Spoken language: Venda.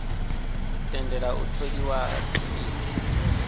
tendela u tholiwa ha komiti